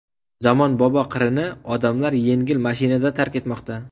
Zamonbobo qirini odamlar yengil mashinada tark etmoqda.